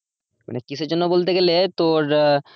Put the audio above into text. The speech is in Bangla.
মানে কিসের জন্য বলতে গেলে তোর আহ